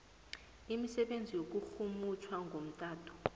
imisebenzi yokurhumutjha ngomtato